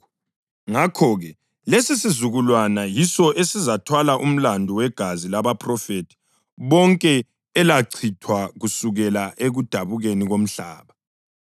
Ngakho-ke, lesisizukulwana yiso esizathwala umlandu wegazi labaphrofethi bonke elachithwa kusukela ekudabukeni komhlaba,